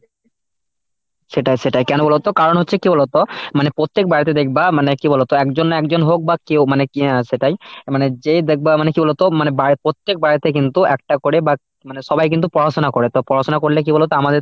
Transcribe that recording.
সেটাই সেটাই কেন বলতো কারণ হচ্ছে কি বলতো? মানে প্রত্যেক বাড়িতে দেখবা মানে কি বলতো একজন না একজন হোক বা কেও মানে সেটাই মানে যেই দেখবে মানে কি বলতো মানে বাড়ি প্রত্যেক বাড়িতে কিন্তু একটা করে বা মানে সবাই কিন্তু পড়াশোনা করে, তো পড়াশোনা করলে কি বলতো আমাদের